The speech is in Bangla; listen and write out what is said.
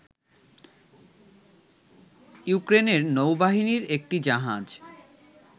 ইউক্রেনের নৌবাহিনীর একটি জাহাজ